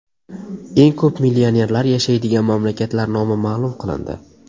Eng ko‘p millionerlar yashaydigan mamlakatlar nomi ma’lum qilindi.